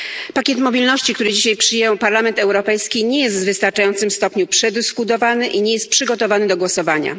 Pakiet mobilności, który dzisiaj przyjął Parlament Europejski, nie jest w wystarczającym stopniu przedyskutowany i nie jest przygotowany do głosowania.